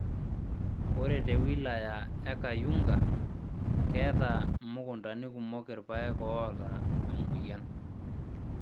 Ore te wilaya e Kayunga, keeeta mukuntani kumok irpayek oota emoyian